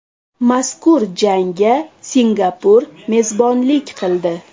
Mazkur jangga Singapur mezbonlik qildi.